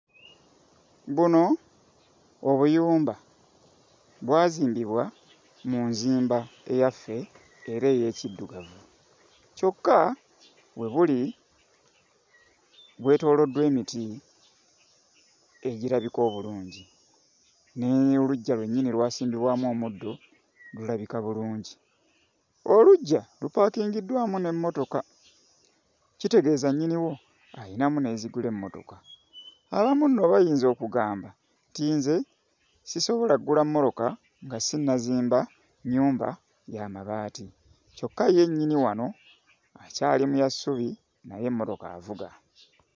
Buno obuyumba bwazimbibwa mu nzimba eyaffe era ey'ekiddugavu kyokka we buli bwetooloddwa emiti egirabika obulungi, ne oluggya lwennyini lwasimbibwamu omuddo, lulabika bulungi. Oluggya lupaakingiddwamu n'emmotoka, kitegeeza nnyiniwo ayinamu n'ezigula emmotoka. Abamu nno bayinza okugamba nti nze sisobola ggula mmoloka nga sinnazimba nnyumba ya mabaati kyokka ye nnyini wano akyali mu ya ssubi naye emmotoka avuga.